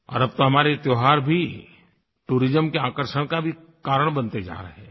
और अब तो हमारे ये त्योहार भी टूरिज्म के आकर्षण का भी कारण बनते जा रहे हैं